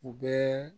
U bɛɛ